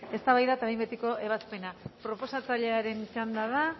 eztabaida eta behin betiko ebazpena proposatzailearen txanda da